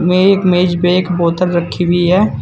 ये एक मेज पर बोतल रखी हुई है।